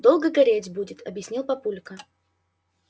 долго гореть будет объяснил папулька